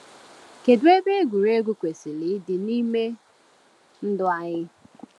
Kedu ebe egwuregwu kwesịrị ịdị n’ime ndụ anyị?